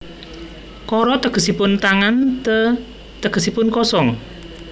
Kara tegesipun tangan te tegesipun kosong